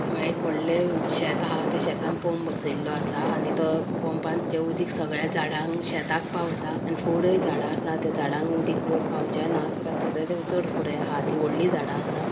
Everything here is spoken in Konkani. हांगा एक वडले शेत आहे ते शेतान पम्प बसेलो आसा आणि तो पम्पाचे उदिक सगळ्या झाडांक शेताक पावताआणि फुडें झाडा आसा त्या झाडांक उदिक अ पावचेना किद्याक थंयसर ते चड फुडें आहा ती वडली झाडा आसा.